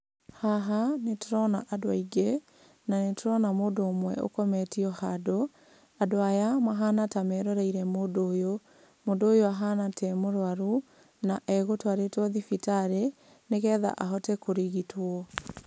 Haha nĩ ndĩrona andũ aingĩ na nĩ tũrona mũndũ ũmwe ũkometio handũ . Andũ aya mahana ta meroreire mũndũ ũyũ, mũndũ ũyũ ahana ta e mũrũaru na e gũtwarĩtwo thibitarĩ nĩ getha ahote kũrigitwo.